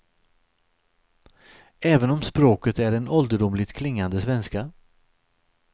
Även om språket är en ålderdomligt klingande svenska.